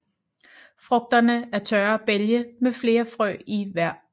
Frugterne er tørre bælge med flere frø i hver